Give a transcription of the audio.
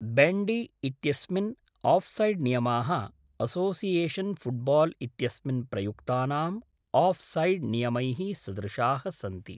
Bandy इत्यस्मिन् आऴ्सैड्नियमाः association football इत्यस्मिन् प्रयुक्तानाम् आऴ्सैड् नियमैः सदृशाः सन्ति।